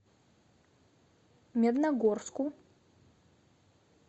медногорску